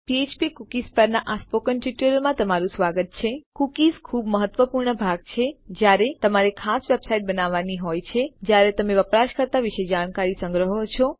ફ્ફ્પ કુકીઝ પરના આ સ્પોકન ટ્યુટોરીયલમાં તમારું સ્વાગત છે કુકીઝ ખૂબ મહત્વપૂર્ણ ભાગ છે જ્યારે તમારે ખાસ વેબસાઇટ્સ બનાવાની હોય છે જ્યાં તમે વપરાશકર્તા વિશે જાણકારી સંગ્રહો છો